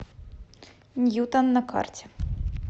ньютон на карте